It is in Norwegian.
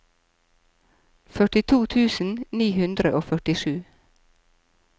førtito tusen ni hundre og førtisju